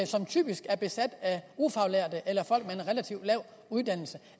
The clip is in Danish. som typisk er besat af ufaglærte eller folk med en relativt lav uddannelse